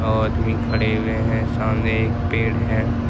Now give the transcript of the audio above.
आदमी खड़े हुए हैं सामने एक पेड़ है।